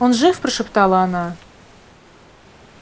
он жив прошептала она